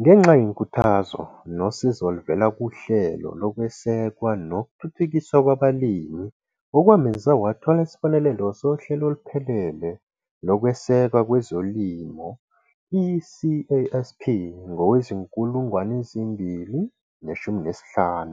Ngenxa yenkuthazo nosizo oluvela kuHlelo Lokwesekwa nokuThuthukiswa Kwabalimi okwamenza wathola isibonelelo Sohlelo Oluphelele Lokwesekwa Kwezolimo, i-CASP, ngowezi-2015,